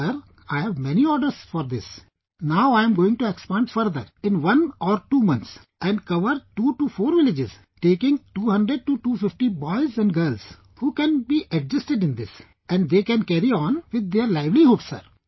Sir, I have many orders for this, now I am going to expand further in one or two months and cover two to four villages, taking 200 to 250 boys and girls who can be adjusted in this and they can carry on with their livelihood sir